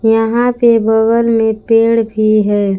यहां पे बगल में पेड़ भी है।